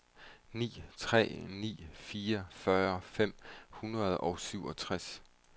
ni tre ni fire fyrre fem hundrede og syvogtres